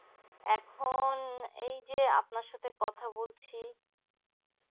এখন এই যে আপনার সাথে কথা বলছি